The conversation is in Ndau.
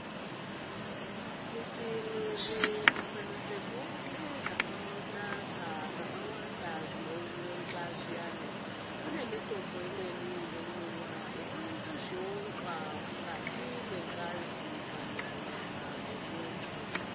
Kuti mwiri ukasanase kuone zvakanaka zvakawanda zvinoundla zviyani kune mitombo imweni inomwiwa inounze zviundla mukati mwengazi kana nyama yemuntu.